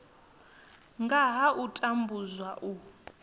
nga ha u tambudzwa u